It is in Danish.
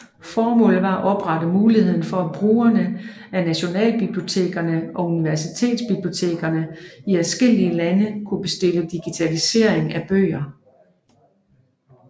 Formålet var at oprette mulighed for at brugerne af nationalbibliotekerne og universitetsbibliotekerne i adskillige lande kunne bestille digitalisering af bøger